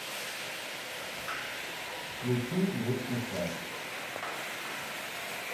включи летний сад